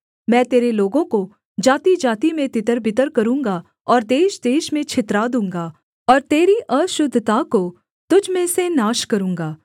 मैं तेरे लोगों को जातिजाति में तितरबितर करूँगा और देशदेश में छितरा दूँगा और तेरी अशुद्धता को तुझ में से नाश करूँगा